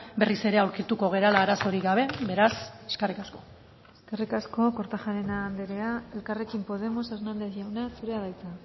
berriz ere aurkituko garela arazorik gabe beraz eskerrik asko eskerrik asko kortajarena andrea elkarrekin podemos hernandez jauna zurea da hitza